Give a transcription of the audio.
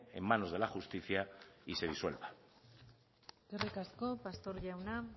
en manos de la justicia y se disuelva eskerrik asko pastor jauna